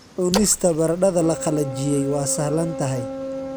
Cunista baradhada la qalajiyey waa sahlan tahay.